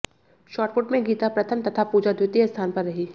shot put में गीता प्रथम तथा पूजा द्वितीय स्थान पर रही